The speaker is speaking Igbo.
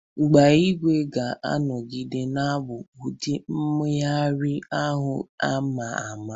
Ịgba ígwè ga-anọgide na-abụ ụdị mmeghari ahụ a ma ama.